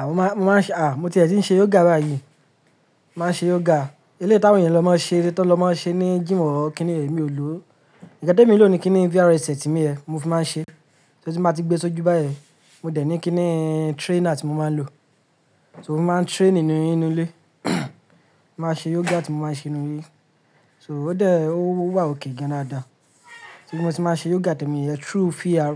À, mo máa ń ṣe, à, mo ti ẹ̀ tì ń ṣe yoga báyìí. Máa ń ṣe yoga. Eleyii tawon eeyan lo máa ń ṣe, tí wọ́n lọ máa ń ṣe ní jym or kíni yen emi ò lò ó. Nkan temi n ló ni kí ni VR headset mi yen, mo fi máa ń ṣe. So tì n báa gbé e sójú báyen, mo dẹ̀ ní kíni trainer tí mo máa ń lò. So mo máa ń train nínú ilé. Máa ṣe yoga tí mo máa ń ṣe nínú ilé. So ó dẹ̀, ó wà okay gan an dáadáa. Ti mo ti máa ṣe yoga tẹ̀mi, through VR,